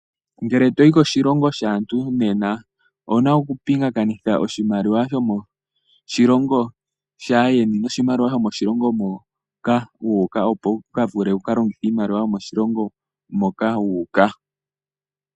Ngele toyi koshilongo shaantu nena owuna okupingakanitha oshimaliwa shomoshilongo shaayeni noshimaliwa shomoshilongo moka wu uka, opo wukavule okulongitha oshimaliwa shomoshilongo moka wu uka.